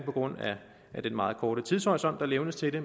på grund af den meget korte tidshorisont der levnes til det